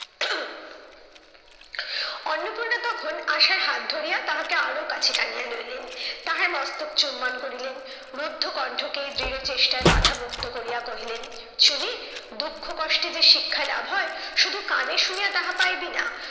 অন্নপূর্ণা তখন আশার হাত ধরিয়া তাহাকে আরো কাছে টানিয়া লইলেন, তাহার মস্তক চুম্বন করিলেন। রুদ্ধ কণ্ঠকে দৃঢ় চেষ্টায় বাধা মুক্ত করিয়া কহিলেন, চুনী দুঃখ কষ্টে যে শিক্ষা লাভ হয় শুধু কানে শুনিয়া তাহা পাইবি না,